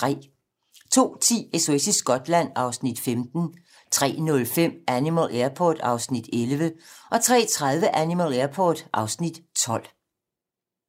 02:10: SOS i Skotland (Afs. 15) 03:05: Animal Airport (Afs. 11) 03:30: Animal Airport (Afs. 12)